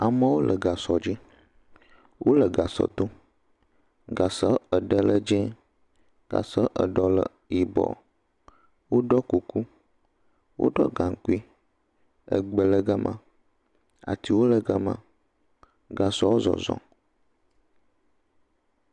Amewo le gãsɔ dzi, wole gãsɔ dom, Gãsɔ eɖe le dzẽ, gasɔ eɖe le yibɔ, wo ɖɔ kuku, wo ɖɔ gaŋkui. Egbe le gama, atiwo le gama, gãsɔ zɔzɔ.